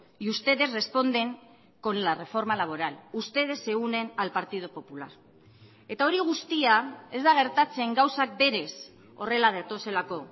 y ustedes responden con la reforma laboral ustedes se unen al partido popular eta hori guztia ez da gertatzen gauzak berez horrela datozelako